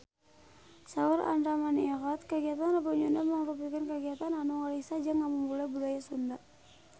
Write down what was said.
Saur Andra Manihot kagiatan Rebo Nyunda mangrupikeun kagiatan anu ngariksa jeung ngamumule budaya Sunda